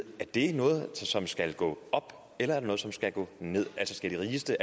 er det noget som skal gå op eller er det noget som skal gå ned altså skal de allerrigeste